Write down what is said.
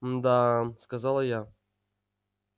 мда сказала я